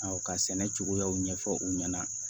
Awɔ ka sɛnɛ cogoyaw ɲɛfɔ u ɲɛna